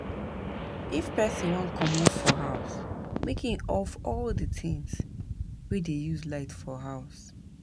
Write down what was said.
if person wan comot for house make im off all di things wey dey use light for house